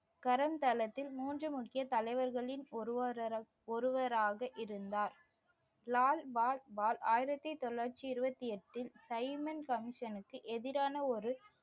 தளத்தில் மூன்று முக்கிய தலைவர்களின் ஒருவரா~ ஒருவராக இருந்தார் லால் பால் பால் ஆயிரத்தி தொள்ளாயிரத்தி இருபத்தி எட்டில் சைமன் கமிஷனுக்கு எதிரான ஒரு